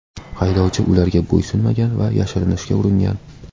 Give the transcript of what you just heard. Haydovchi ularga bo‘ysunmagan va yashirinishga uringan.